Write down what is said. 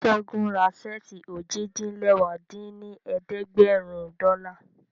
Ṣẹ́gun ra ṣẹ́ẹ̀tì ojì-din-lẹwá dín ní ẹ̀ẹ́dẹ́gbẹ́rún dọ́là